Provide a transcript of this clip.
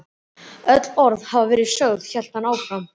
Öll orð hafa verið sögð hélt hann áfram.